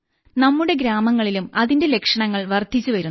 നമ്മുടെ ഗ്രാമങ്ങളിലും അതിന്റെ ലക്ഷണങ്ങൾ വർധിച്ചുവരുന്നു